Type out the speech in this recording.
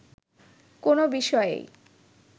কোনো বিষয়েই